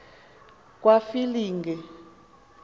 kwafilingi